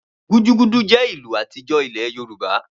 Gudugudu jẹ́ ìlù àtijọ́ ílẹ̀ Yorùbá